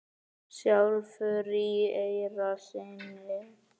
sjálfur í eyra syni?